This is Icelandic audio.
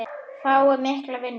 Fái mikla vinnu.